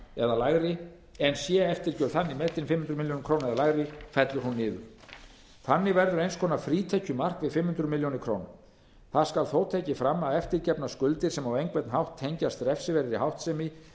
eða lægri fellur hún niður þannig verður til eins konar frítekjumark við fimm hundruð milljóna króna það skal þó tekið fram að eftirgefnar skuldir sem á einhvern hátt tengjast refsiverðri háttsemi